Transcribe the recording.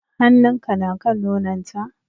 Hannun ka na kan nonon ta?